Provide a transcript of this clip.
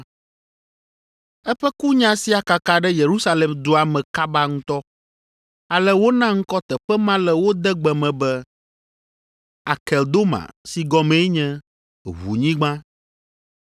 Eƒe kunya sia kaka ɖe Yerusalem dua me kaba ŋutɔ ale wona ŋkɔ teƒe ma le wo degbe me be, Akeldoma si gɔmee nye Ʋunyigba.)